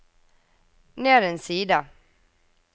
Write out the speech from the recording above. ned en side